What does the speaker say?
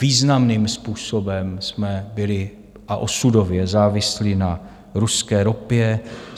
Významným způsobem jsme byli, a osudově závislí, na ruské ropě.